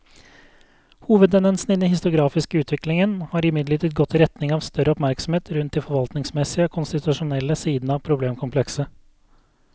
Hovedtendensen i den historiografiske utviklingen har imidlertid gått i retning av større oppmerksomhet rundt de forvaltningsmessige og konstitusjonelle sidene av problemkomplekset.